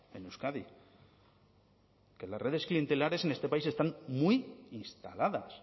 en euskadi que las redes clientelares en este país están muy instaladas